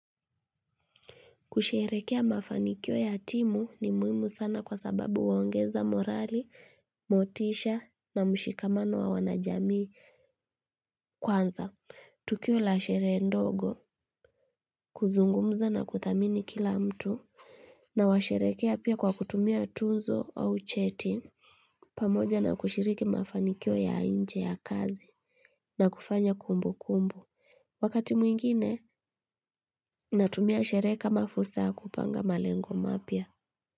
Kusherekea mafanikio ya timu ni muhimu sana kwa sababu huongeza morali, motisha na mshikamano wa wanajamii kwanza. Tukio la shere ndogo, kuzungumza na kuthamini kila mtu, na washerekea pia kwa kutumia tuzo au cheti. Pamoja na kushiriki mafanikio ya nje ya kazi na kufanya kumbu kumbu. Wakati mwingine, natumia sherehe kama fursa ya kupanga malengo mapya.